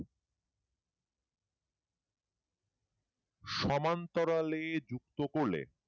সমান্তরালে যুক্ত করলে